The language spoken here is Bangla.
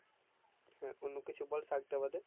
হ্যাঁ অন্য কিছু বল শাক তা বাদে